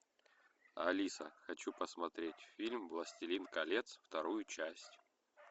алиса хочу посмотреть фильм властелин колец вторую часть